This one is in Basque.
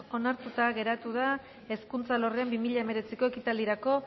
onartuta geratu da hezkuntza alorrean bi mila hemeretziko ekitaldirako